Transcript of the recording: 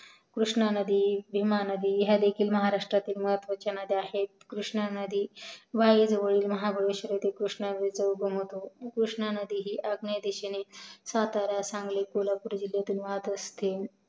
कृष्णा नदी भीमा नदी ह्या देखील महरस्त्रातील महत्वाच्या नद्या आहेत कृष्णा नदी वाही जवळील महाबळेश्वर येथे कृष्णा नदीचा उगम होतो कृष्णा नदी ही आग्नेये दिशेने सातारा सांगली कोल्हापूर जिल्ह्यातून वाहत असते